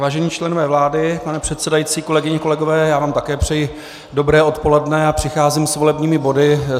Vážení členové vlády, pane předsedající, kolegyně, kolegové, já vám také přeji dobré odpoledne a přicházím s volebními body.